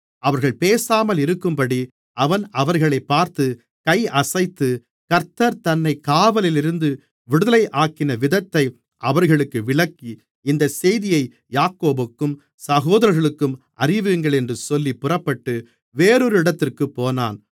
அவர்கள் பேசாமலிருக்கும்படி அவன் அவர்களைப் பார்த்து கையசைத்து கர்த்தர் தன்னைக் காவலிலிருந்து விடுதலையாக்கின விதத்தை அவர்களுக்கு விளக்கி இந்தச் செய்தியை யாக்கோபுக்கும் சகோதரர்களுக்கும் அறிவியுங்கள் என்று சொல்லி புறப்பட்டு வேறொரு இடத்திற்குப் போனான்